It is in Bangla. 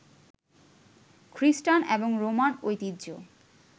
খৃস্টান এবং রোমান ঐতিহ্য